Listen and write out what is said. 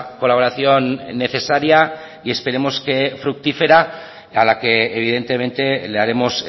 colaboración necesaria y esperemos que fructífera a la que evidentemente le haremos